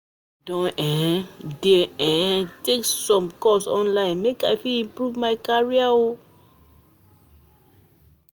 I don um dey um take some course online make I fit improve my career.